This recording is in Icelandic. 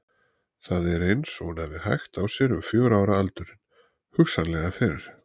Það er eins og hún hafi hægt á sér um fjögurra ára aldurinn, hugsanlega fyrr.